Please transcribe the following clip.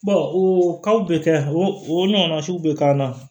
o bɛ kɛ o ɲɔgɔnna siw bɛ k'an na